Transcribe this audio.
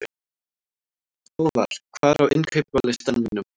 Hávarr, hvað er á innkaupalistanum mínum?